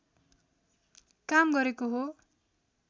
काम गरेको हो